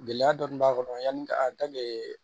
Gɛlɛya dɔɔnin b'a kɔnɔ yani